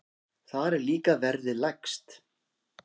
Þar er líka verðið lægst.